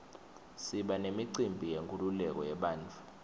siba nemicimbi yenkululeko yebantfu